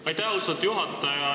Aitäh, austatud juhataja!